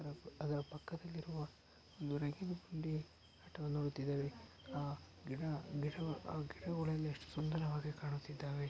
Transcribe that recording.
ಅದರ ಪಕ್ಕದಲ್ಲಿ ಇರುವ ಒಂದು ರೇಗಿನ್ ಗುಂಡಿ ಆಟವನ್ನು ನೋಡುತ್ತಿದ್ದೇವೆ ಆ ಗಿಡ ಗಿಡ ಆ ಗಿಡಗುಳೆಲ್ಲಾ ಎಷ್ಟು ಸುಂದರವಾಗಿ ಕಾಣುತ್ತಿದ್ದಾವೆ.